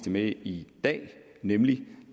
med i dag nemlig